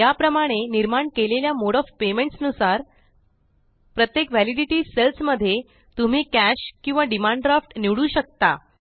या प्रमाणे निर्माण केलेल्या मोड ऑफ पेमेंट्स नुसार प्रत्येक वेलिडिटी सेल्स मध्ये तुम्ही कॅश किंवा डिमांड ड्राफ्ट निवडू शकता